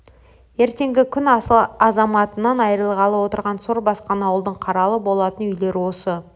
ертеңгі күн асыл азаматынан айрылғалы отырған сор басқан ауылдың қаралы болатын үйлері осы